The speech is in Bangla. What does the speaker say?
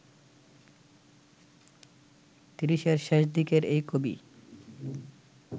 তিরিশের শেষদিকের এই কবি